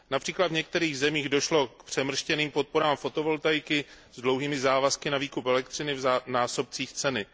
Například v některých zemích došlo k přemrštěným podporám fotovoltaiky s dlouholetými závazky na výkup elektřiny v násobcích ceny.